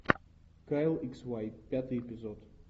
кайл икс уай пятый эпизод